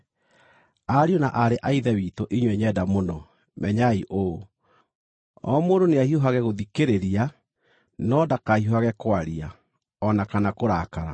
Ariũ na aarĩ a Ithe witũ inyuĩ nyenda mũno, menyai ũũ: O mũndũ nĩahiũhage gũthikĩrĩria, no ndakahiũhage kwaria o na kana kũrakara,